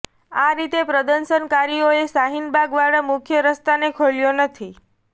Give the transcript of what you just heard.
આ રીતે પ્રદર્શનકારીઓએ શાહીન બાગ વાળા મુખ્ય રસ્તાને ખોલ્યો નથી